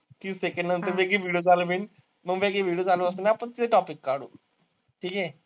तीस सेकंद नंतर video चालू होईल. मग काय आहे की video चालू असताना आपण तिथे topic काढू. ठिके?